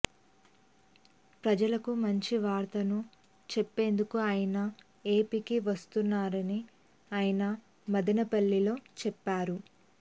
ప్రజలకు మంచి వార్తను చెప్పేందుకే ఆయన ఏపీకి వస్తున్నారని ఆయన మదనపల్లెలో చెప్పారు